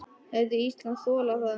Hefði Ísland þolað það?